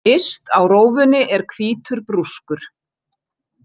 Yst á rófunni er hvítur brúskur.